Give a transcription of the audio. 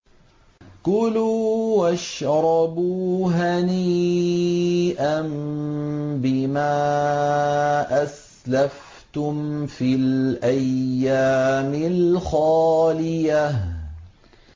كُلُوا وَاشْرَبُوا هَنِيئًا بِمَا أَسْلَفْتُمْ فِي الْأَيَّامِ الْخَالِيَةِ